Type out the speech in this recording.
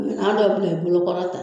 dɔw o tun bɛ bolo kɔrɔta